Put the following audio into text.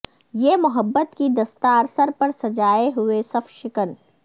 یہ محبت کی دستار سر پر سجائے ہوئے صف شکن